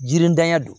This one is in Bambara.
Jiritanya don